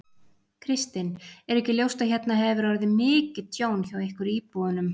Kristinn: Er ekki ljóst að hérna hefur orðið mikið tjón hjá ykkur íbúunum?